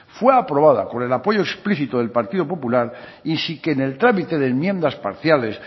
fue aprobada con el apoyo explícito del partido popular y sin que en el trámite de enmiendas parciales